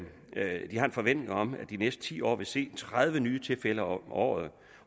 forventning om at de næste ti år vil se tredive nye tilfælde om året